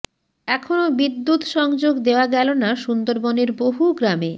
এখনও বিদ্যুৎ সংযোগ দেওয়া গেল না সুন্দরবনের বহু গ্রামে